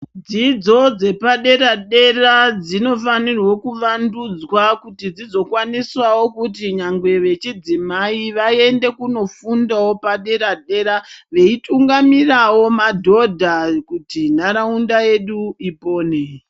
Dzidzo dzepadera-dera dzinofanirwe kuvandudzwa kuti dzizokwanisawo kuti nyangwe vechidzimai vaende kunofundawo padera-dera veitungamirawo madhodha kuti nharaunda yedu ipone.